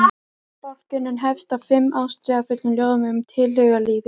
Bálkurinn hefst á fimm ástríðufullum ljóðum um tilhugalífið.